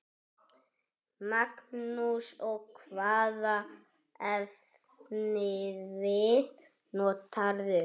Magnús: Og hvaða efnivið notarðu?